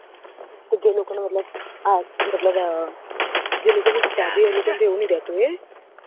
જે લોકો ની મતલબ હા મતલબ જે લોકો ની શાદી હોય એવું ની રેહતું હોય હે